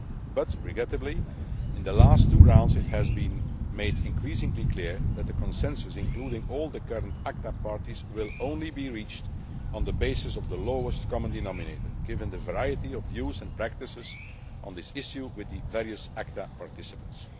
But regrettably, in the last two rounds, it has been made increasingly clear that a consensus including all the current ACTA parties will only be reached on the basis of the lowest common denominator, given the variety of views and practices on this issue with the various ACTA participants.